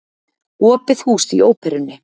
Opið hús í Óperunni